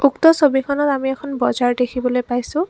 উক্ত ছবিখনত আমি এখন বজাৰ দেখিবলৈ পাইছোঁ।